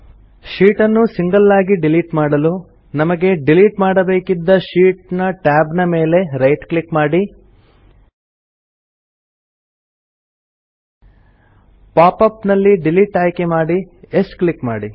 sheet ಅನ್ನು single ಆಗಿ delete ಮಾಡಲು ನಮಗೆ ಡಿಲಿಟ್ ಮಾಡಬೇಕಿದ್ದ ಶೀಟ್ ನ ಟ್ಯಾಬ್ ಮೇಲೆ ರೈಟ್ ಕ್ಲಿಕ್ ಮಾಡಿ ಪಾಪ್ ಅಪ್ ನಲ್ಲಿ ಡಿಲಿಟ್ ಆಯ್ಕೆ ಮಾಡಿ ಯೆಸ್ ಕ್ಲಿಕ್ ಮಾಡಿ